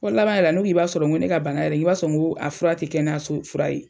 Fo laban yɛrɛ n ko i b'a sɔrɔ ko ne ka bana yɛrɛ i b'a sɔrɔ n ko a fura tɛ kɛnɛyaso fura ye.